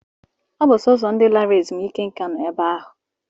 Ọ bụ sọọsọ ndị lara ezumike nká nọ ebe ahụ